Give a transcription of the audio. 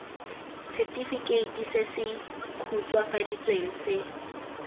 setefikeiti se se khutswafaditsweng se